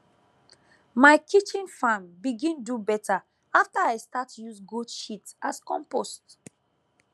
my kitchen farm begin do better after i start use goat shit as compost